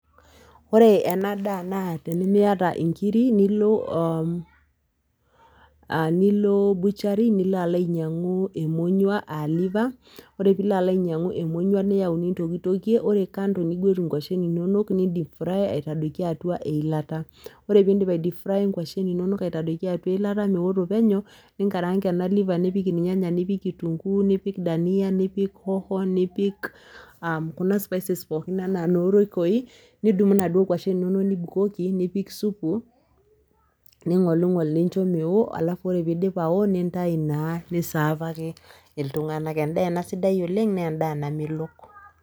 Ore ena daa naa tenimiata inkiri nilo uhm aah nilo butchery niloalainyang'uu emonyua [aa]  liver ore piloalainyang'u emonyua niyau nintokitokie ore kando niguat inkuashin inonok nindipfrai aitadoiki atua eilata. Ore piindip aidipfraya inkuashin inonok aitadoiki atua eilata meoto penyo ninkaranga ena liver nipik ilnyanya nipik  kitunguu nipik dania nipik hoho nipik aa kuna spices pookin anaa nooroikoi nidumu naduo kuashin inonok nibukoki nipik supu ning'oling'ol nincho meo alafu ore peeidip awo nintai naa nisaafaki iltung'anak. Endaa ena sidai oleng' nendaa namelok.